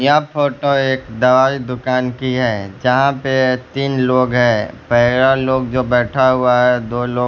यह फोटो एक दवाई दुकान की है यहां पे तीन लोग है पहला लोग जो बैठा हुआ है दो लोग--